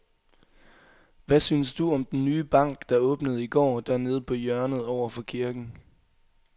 Hvad synes du om den nye bank, der åbnede i går dernede på hjørnet over for kirken?